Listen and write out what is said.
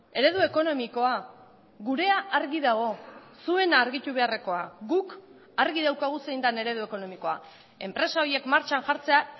eredu ekonomikoa gurea argi dago zuena argitu beharrekoa guk argi daukagu zein den eredu ekonomikoa enpresa horiek martxan jartzea